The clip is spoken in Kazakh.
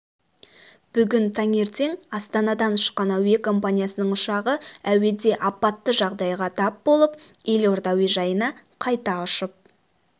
бүгін таңертең астанадан ұшқан әуе компаниясының ұшағы әуеде апатты жағдайға тап болып елорда әуежайына қайта ұшып